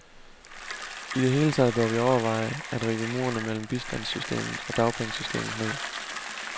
I det hele taget bør vi overveje at rive murene mellem bistandssystemet og dagpengesystemet ned.